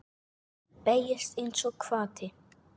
Beygist einsog hvati.